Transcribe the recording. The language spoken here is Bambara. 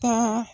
Taa